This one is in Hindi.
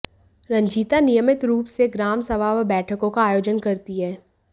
रंजीता नियमित रूप से ग्राम सभा व बैठकों का आयोजन करती हैं